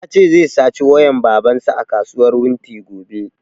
Ya ce zai sace wayan baban sa a kasuwar wunti gobe